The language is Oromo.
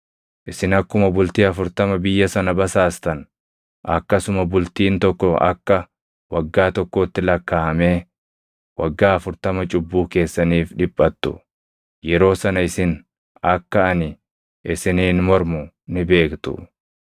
Isin akkuma bultii afurtama biyya sana basaastan, akkasuma bultiin tokko akka waggaa tokkootti lakkaaʼamee waggaa afurtama cubbuu keessaniif dhiphattu; yeroo sana isin akka ani isiniin mormu ni beektu.’